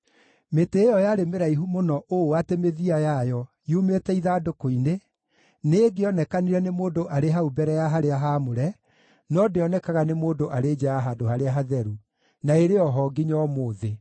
Mĩtĩ ĩyo yarĩ mĩraihu mũno ũũ atĩ mĩthia yayo, yumĩte ithandũkũ-inĩ, nĩĩngĩonekanire nĩ mũndũ arĩ hau mbere ya harĩa haamũre, no ndĩonekaga nĩ mũndũ arĩ nja ya Handũ-harĩa-Hatheru; na ĩrĩ o ho nginya ũmũthĩ.